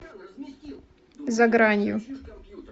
за гранью